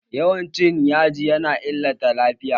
Yawan cin yaji ya na illata lafiya